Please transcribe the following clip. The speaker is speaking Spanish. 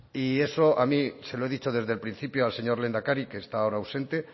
y eso a mí se lo he dicho desde el principio al señor lehendakari que está ahora ausente